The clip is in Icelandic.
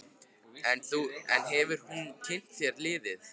En hefur hún kynnt sér liðið?